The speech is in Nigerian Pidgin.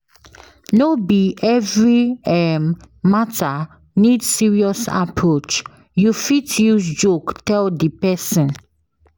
No be every um matter need serious approach you fit use joke tell di persin